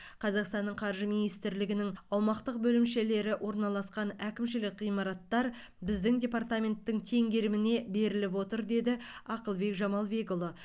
қазақстанның қаржы министрлігінің аумақтық бөлімшелері орналасқан әкімшілік ғимараттар біздің департаменттің теңгеріміне беріліп отыр деді ақылбек жамалбекұлы